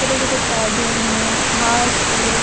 छोटे छोटे पौधे हैं घास है।